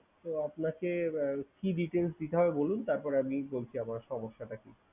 তো আপনাকে আহ কি details দিতে হবে বলুন? তারপরে আমি বলছি আমার সমস্যাটা কি।